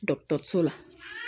so la